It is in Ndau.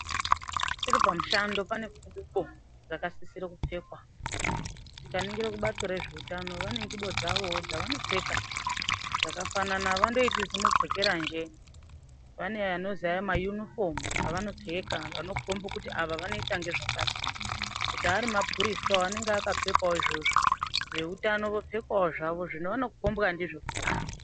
Tiripamushando pane ngubo dzakasisira kupfekwa. Tikaningira kubato rezveutano vane ngubowo dzavo dzavanopfeka dzakafanana avandoiti zimupfekeranje, vane anozi ma yunifomu avanopfeka anokomba kuti ava vanoita ngezvakati. Kuti ari mapurisawo anenge akapfekawo izvozvo veutano vopfekawo zvavo zvavanokombwa ndizvo kuti ava.